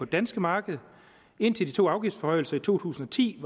danske marked indtil de to afgiftsforhøjelser i to tusind og ti